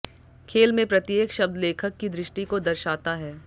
खेल में प्रत्येक शब्द लेखक की दृष्टि को दर्शाता है